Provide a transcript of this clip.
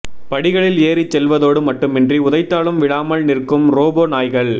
படிகளில் ஏறிச் செல்வதோடு மட்டுமின்றி உதைத்தாலும் விழாமல் நிற்கும் ரோபோ நாய்கள்